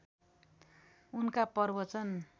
उनका प्रवचन